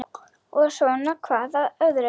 Og svona hvað af öðru.